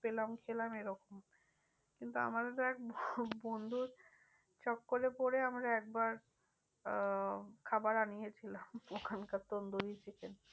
পেলাম খেলাম এরকম কিন্তু আমারও তো এক বন্ধুর চক্করে পরে আমার একবার আহ খাবার আনিয়েছিলাম ওখানকার tandoori chicken